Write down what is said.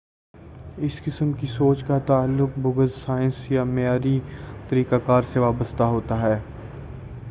اس قسم کی سوچ کا تعلق بعض سائنس یا معیاری طریقہ کار سے وابستہ ہوتا ہے